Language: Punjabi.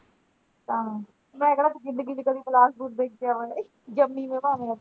ਹਾਂ ਮੈਂ ਕਿਹੜਾ ਜਿੰਦਗੀ ਚ ਕਦੀ ਬਿਲਾਸਪੁਰ ਵੇਖਿਆ ਆ ਜੰਮੀ ਮੈਂ ਭਾਵੇਂ ਓਥੇ।